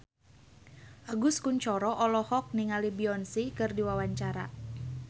Agus Kuncoro olohok ningali Beyonce keur diwawancara